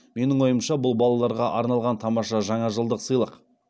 менің ойымша бұл балаларға арналған тамаша жаңажылдық сыйлық